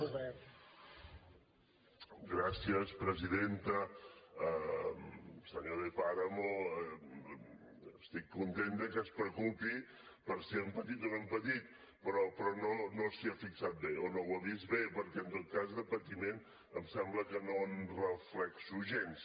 senyor de páramo estic content de que es preocupi per si hem patit o no hem patit però no s’hi ha fixat bé o no ho ha vist bé perquè en tot cas de patiment em sembla que no en reflecteixo gens